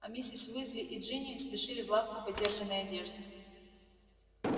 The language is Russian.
а миссис уизли и джинни спешили в лавку подержанной одежды